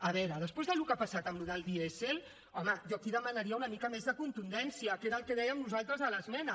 a veure després del que ha passat amb això del dièsel home jo aquí demanaria una mica més de contundència que era el que dèiem nosaltres a l’esmena